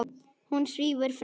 Hún svífur fram.